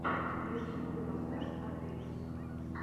в ютюбе поставь атевис